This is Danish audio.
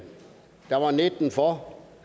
for